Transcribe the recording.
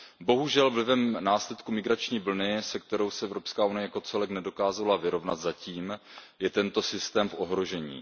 Bohužel vlivem následku migrační vlny, se kterou se zatím EU jako celek nedokázala vyrovnat, je tento systém v ohrožení.